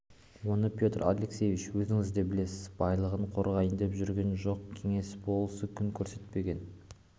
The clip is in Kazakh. оны петр алексеевич өзіңіз де білесіз байлығын қорғайын деп жүрген жоқ кеңес болысы күн көрсетпеген